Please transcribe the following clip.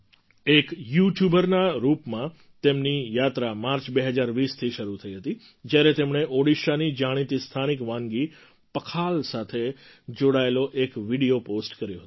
એક યૂટ્યૂબરના રૂપમાં તેમની યાત્રા માર્ચ ૨૦૨૦થી શરૂ થઈ હતી જ્યારે તેમણે ઓડિશાની જાણીતી સ્થાનિક વાનગી પખાલ સાથે જોડાયેલો એક વિડિયો પૉસ્ટ કર્યો હતો